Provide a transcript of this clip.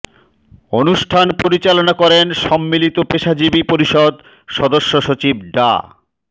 অনুষ্ঠান পরিচালনা করেন সম্মিলিত পেশাজীবী পরিষদ সদস্য সচিব ডা